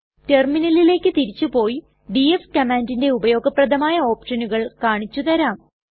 റ്റെർമിനലിലെക് തിരിച്ചു പോയി ഡിഎഫ് കമ്മാൻണ്ടിന്റെ ഉപയോഗപ്രദമായ ഓപ്ഷനുകൾ കാണിച്ചു തരാം